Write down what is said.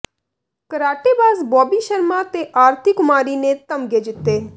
ਕਰਾਟੇਬਾਜ਼ ਬੌਬੀ ਸ਼ਰਮਾ ਤੇ ਆਰਤੀ ਕੁਮਾਰੀ ਨੇ ਤਗਮੇ ਜਿੱਤੇ